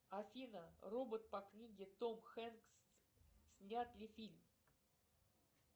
афина робот по книге том хэнкс снят ли фильм